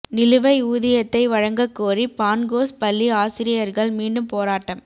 நிலுவை ஊதியத்தை வழங்கக் கோரி பாண்கோஸ் பள்ளி ஆசிரியா்கள் மீண்டும் போராட்டம்